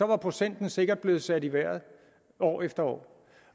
var procenten sikkert blevet sat i vejret år efter år